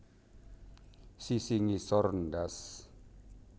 Sisi ngisor ndas